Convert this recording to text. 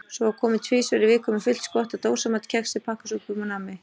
Svo var komið tvisvar í viku með fullt skott af dósamat, kexi, pakkasúpum og nammi.